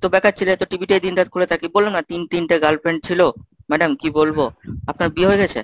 তো বেকার ছেলে এতো TV তেই দিনরাত পরে থাকি, বললাম না তিন তিনটে girlfriend ছিল, madam কি বলবো? আপনার বিয়ে হয়ে গেছে?